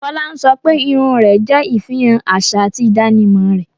Fola ń sọ pé irun rẹ̀ jẹ́ ìfihàn àṣà àti ìdánimọ̀ rẹ̀